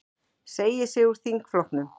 Segir sig úr þingflokknum